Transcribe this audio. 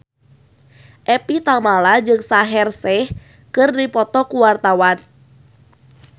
Evie Tamala jeung Shaheer Sheikh keur dipoto ku wartawan